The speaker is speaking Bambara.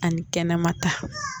Ani kɛnɛmata